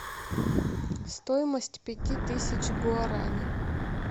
стоимость пяти тысяч гуарани